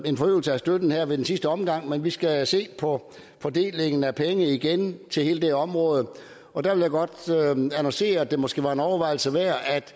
en forøgelse af støtten her i sidste omgang men vi skal se på fordelingen af penge igen til hele det område og der vil jeg godt annoncere at det måske var en overvejelse værd at